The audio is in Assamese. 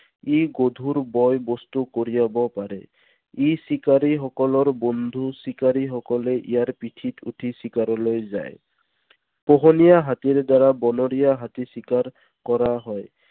ই গধুৰ বয় বস্তু কঢ়িয়াব পাৰে। ই চিকাৰীসকলৰ বন্ধু। চিকাৰীসকলে ইয়াৰ পিঠিত উঠি চিকাৰলৈ যায়। পোহনীয়া হাতীৰ দ্বাৰা বনৰীয়া হাতী চিকাৰ কৰা হয়।